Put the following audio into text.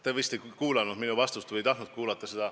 Te vist ei kuulanud minu vastust või ei tahtnud seda kuulata.